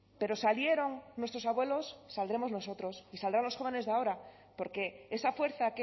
pero salieron nuestros abuelos saldremos nosotros y saldrán los jóvenes de ahora porque esa fuerza